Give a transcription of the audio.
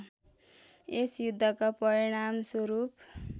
यस युद्धका परिणामस्वरूप